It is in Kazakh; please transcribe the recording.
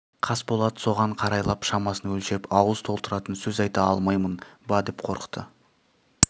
қасболат соған қарайлап шамасын өлшеп ауыз толтыратын сөз айта алмаймын ба деп қорықты